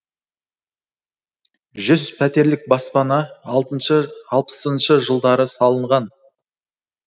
жүз пәтерлік баспана алпысыншы жылдары салынған